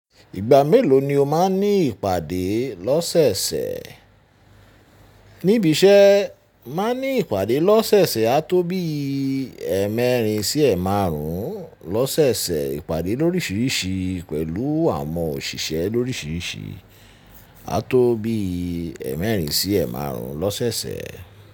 Ìgbà mélòó ni o má n ní ìpàdé lọ́sẹ̀sẹ̀? Níbi iṣẹ́ má n ní ìpàdé lọ́sẹ̀sẹ̀ á tó bí ẹ́ẹ̀mẹ́rin sí ẹ́ẹ̀márún lọ́sẹ̀sẹ̀ ìpàdé lórísìírísìí pẹ̀lú àwọn òṣìṣẹ́ lórísìírísìí á tó bí ẹ́ẹ̀mẹ́rin sí ẹ́ẹ̀márún lọ́sẹ̀sẹ̀.